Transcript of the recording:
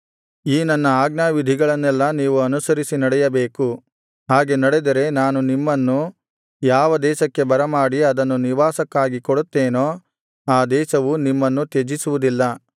ಈ ನನ್ನ ಆಜ್ಞಾವಿಧಿಗಳನ್ನೆಲ್ಲಾ ನೀವು ಅನುಸರಿಸಿ ನಡೆಯಬೇಕು ಹಾಗೆ ನಡೆದರೆ ನಾನು ನಿಮ್ಮನ್ನು ಯಾವ ದೇಶಕ್ಕೆ ಬರಮಾಡಿ ಅದನ್ನು ನಿವಾಸಕ್ಕಾಗಿ ಕೊಡುತ್ತೇನೋ ಆ ದೇಶವು ನಿಮ್ಮನ್ನು ತ್ಯಜಿಸುವುದಿಲ್ಲ